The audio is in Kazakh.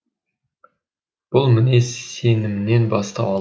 бұл мінез сенімнен бастау алады